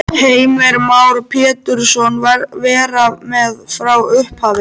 Heimir Már Pétursson: Vera með frá upphafi?